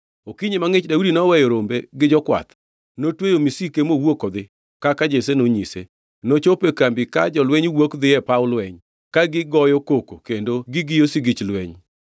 Okinyi mangʼich Daudi noweyo rombe gi jokwath, notweyo misike mowuok odhi kaka Jesse nonyise. Nochopo e kambi ka jolweny wuok dhi e paw lweny, ka gigoyo koko kendo gigiyo sigich lweny.